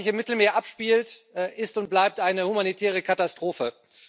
Das, was sich im Mittelmeer abspielt, ist und bleibt eine humanitäre Katastrophe.